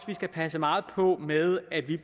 vi skal passe meget på med at vi